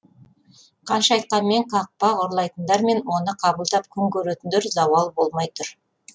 қанша айтқанмен қақпақ ұрлайтындар мен оны қабылдап күн көретіндер зауал болмай тұр